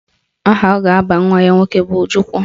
Aha ọ ga-aba nwa ya nwoke bụ Ojukwu